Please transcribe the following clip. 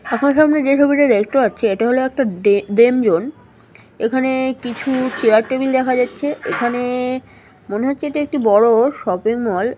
আপনাদের সামনে যে ছবিটা দেখতে পাচ্ছি এটা হল একটা ডে ডেম জোন । এখানে কিছু চেয়ার টেবিল দেখা যাচ্ছে এখানে মনে হচ্ছে এটা একটি বড় শপিং মল ।